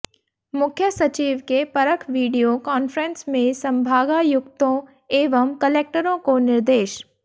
मुख्य सचिव के परख वीडियो कान्फ्रेंस में संभागायुक्तों एवं कलेक्टरों को निर्देश